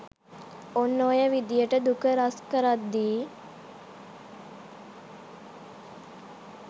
ඔන්න ඔය විදිහට දුක රැස්කරද්දී